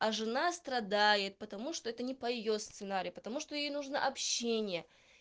а жена страдает потому что это не по её сценарию потому что ей нужно общение